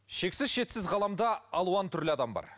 шексіз шетсіз ғаламда алуан түрлі адам бар